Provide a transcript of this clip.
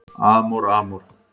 Amor Amor